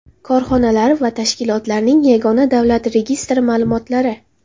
Korxonalar va tashkilotlarning yagona davlat registri ma’lumotlari.